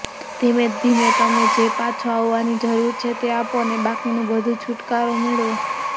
ધીમે ધીમે તમે જે પાછો આવવાની જરૂર છે તે આપો અને બાકીનું બધું છુટકારો મેળવો